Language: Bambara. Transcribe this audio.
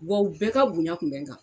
Wa u bɛɛ ka bonya kun bɛɛ n kan